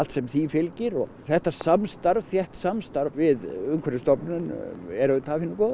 sem því fylgir og þetta samstarf þétt samstarf við Umhverfisstofnun er af hinu góða